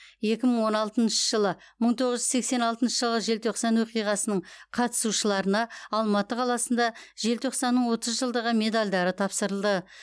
екі мың он алтыншы жылы мың тоғыз жүз сексен алтыншы жылғы желтоқсан оқиғасының қатысушыларына алматы қаласында желтоқсанның отыз жылдығы медальдары тапсырылды